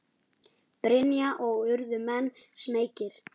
Brynja: Og urðu menn smeykir?